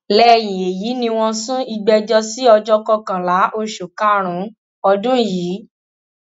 lẹyìn èyí ni wọn sún ìgbẹjọ sí ọjọ kọkànlá oṣù karùnún ọdún yìí